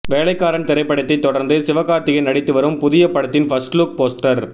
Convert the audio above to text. வேலைக்காரன் திரைப்படத்தை தொடர்ந்து சிவகார்த்திகேயன் நடித்துவரும் புதிய படத்தின் ஃபர்ஸ்ட் லுக் போஸ்டர